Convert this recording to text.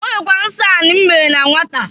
Onweghịkwa nsọ anị m mere na nwata.